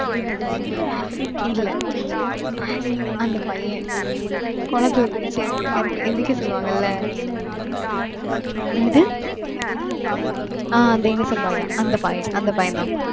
இல்ல அந்த பையன் குளத்துல குதிச்சு இறங்கு இறக்கு எந்திரிக்க சொல்லுவாங்கல்ல. என்னது? ஆஹ் அந்த innocent boy தான். அந்த boy அந்த பையன்தான்.